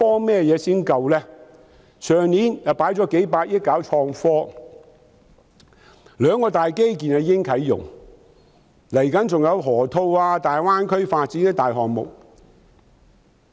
去年當局已經投放數百億元推動創科，兩項大型基建亦已經啟用，未來還有河套區、大灣區發展的大型項目。